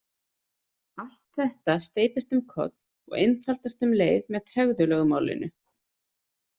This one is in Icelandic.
Allt þetta steypist um koll og einfaldast um leið með tregðulögmálinu.